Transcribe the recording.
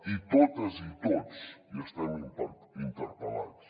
i totes i tots hi estem interpel·lats